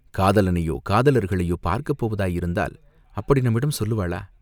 காதலனையோ, காதலர்களையோ பார்க்கப் போவதாயிருந்தால் அப்படி நம்மிடம் சொல்லுவாளா?